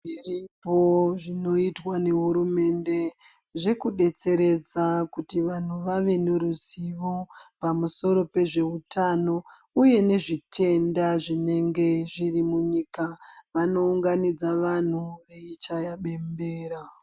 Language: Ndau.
Zviripo zvinoitwa nehurumende, zvekudetseredza kuti vanthu vave ne ruzivo pamusoro pezveutano uye nezvitenda zvinenge zviri munyika, vanounganidza vanthu veichaya bembera.